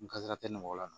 N garijɛgɛ nɔgɔya la